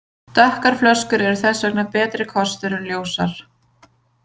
Dökkar flöskur eru þess vegna betri kostur en ljósar.